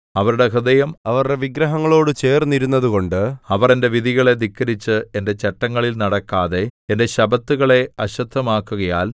അവരുടെ ഹൃദയം അവരുടെ വിഗ്രഹങ്ങളോടു ചേർന്നിരുന്നതുകൊണ്ട് അവർ എന്റെ വിധികളെ ധിക്കരിച്ച് എന്റെ ചട്ടങ്ങളിൽ നടക്കാതെ എന്റെ ശബ്ബത്തുകളെ അശുദ്ധമാക്കുകയാൽ